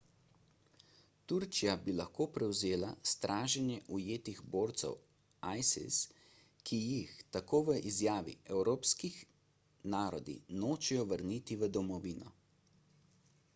turčija bi tudi prevzela straženje ujetih borcev isis ki jih tako v izjavi evropski narodi nočejo vrniti v domovino